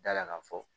Da la ka fɔ